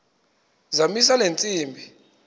zamisa le ntsimbi